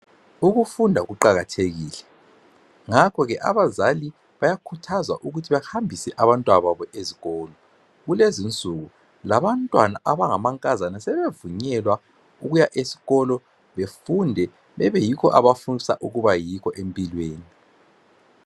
Ukufunda kuqakathekile ngakho ke abazali bayakhuthazwa ukuthi bahambise abantwana babo ezikolo. Kulezi insuku labantwana abangamankazana sebevunyelwa ukuya ezikolo befunde babeyikho abakufisa babeyikho empilweni .